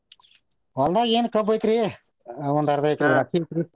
ಹೊಲ್ದಾಗ್ ಏನ್ ಕಬ್ಬ್ ಐತ್ರಿ ಒಂದ ಅರ್ಧ ಎಕರೆ ದ್ರಾಕ್ಷಿ ಐತ್ರಿ.